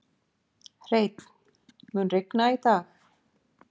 Hreinn, mun rigna í dag?